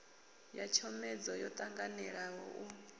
ya tshomedzo yo tanganelaho u